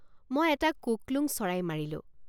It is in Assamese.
মই এটা কোকলোঙ চৰাই মাৰিলোঁ।